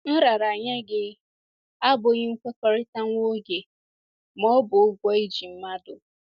Nraranye gị abụghị nkwekọrịta nwa oge ma ọ bụ ụgwọ i ji mmadụ